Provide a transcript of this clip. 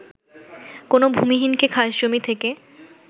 কোনো ভূমিহীনকে খাস জমি থেকে